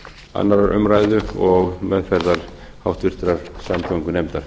annarrar umræðu og meðferðar háttvirtrar samgöngunefndar